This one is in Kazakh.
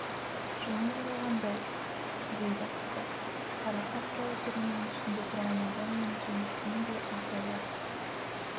жылан жалағандай дейді қазақ қара қақпалы түрменің ішінде тұрған адаммен сөйлескендей айқайлап